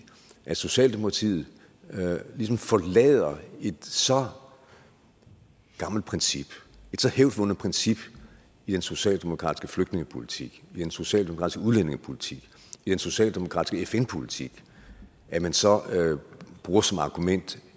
at socialdemokratiet ligesom forlader et så gammelt princip et så hævdvundet princip i en socialdemokratisk flygtningepolitik i en socialdemokratisk udlændingepolitik i en socialdemokratisk fn politik at man så bruger som argument